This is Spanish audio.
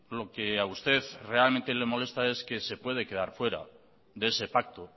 lo que a usted realmente le molesta es que se puede quedar fuera de ese pacto